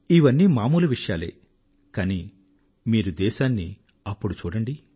ఇవన్నీ మామూలు విషయాలే కానీ మీరు దేశాన్నిఅప్పుడు చూడండి